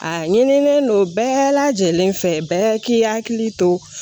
A ɲinilen don bɛɛ lajɛlen fɛ bɛɛ k'i hakili to